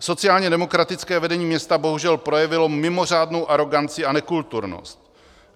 Sociálně demokratické vedení města bohužel projevilo mimořádnou aroganci a nekulturnost.